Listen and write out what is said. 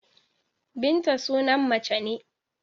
Binta sunan mace ne.